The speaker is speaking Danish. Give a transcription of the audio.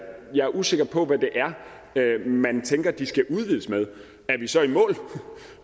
er usikker på hvad det er man tænker de skal udvides med er vi så i mål